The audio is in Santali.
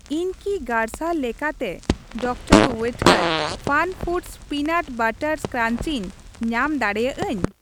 ᱤᱧ ᱠᱤ ᱜᱟᱨᱥᱟᱨ ᱞᱮᱠᱟᱛᱮ ᱰᱤᱟᱨ ᱳᱭᱮᱴᱠᱮᱨ ᱯᱷᱟᱱᱯᱷᱩᱰᱚᱥ ᱚᱭᱱᱟᱴ ᱵᱟᱨᱟᱴ ᱠᱨᱟᱣ ᱤᱧ ᱧᱟᱢ ᱫᱟᱲᱮᱭᱟᱜᱼᱟᱹᱧ ?